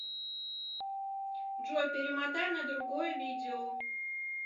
джой перемотай на другое видео